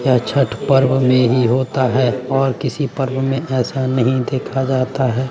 यह छठ पर्व में ही होता हैं और किसी पर्व में ऐसा नहीं देखा जाता हैं।